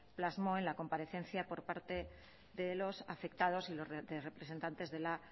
plasmó en la comparecencia por parte de los afectados y los representantes de la